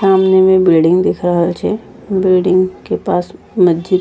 सामने में बिल्डिंग दिख रहल छै बिल्डिंग के पास मस्जि --